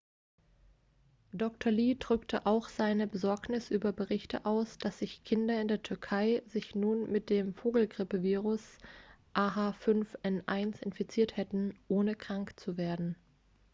dr. lee drückte auch seine besorgnis über berichte aus dass sich kinder in der türkei sich nun mit dem vogelgrippevirus ah5n1 infiziert hätten ohne krank zu werden